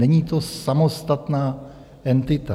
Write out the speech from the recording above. Není to samostatná entita.